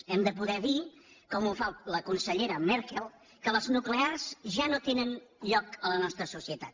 hem de poder dir com ho fa la cancellera merkel que les nuclears ja no tenen lloc a la nostra societat